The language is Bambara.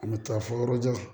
A bɛ taa fɔ yɔrɔ jan